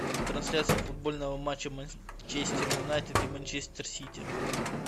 трансляция футбольного матча манчестер юнайтед и манчестер сити